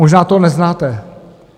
Možná to neznáte.